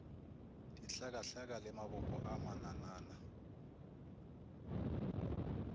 dihlakahlaka le mabopo a mananana